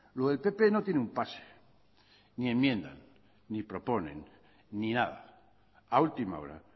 lo del pp no tiene un pase ni enmiendan ni proponen ni nada a última hora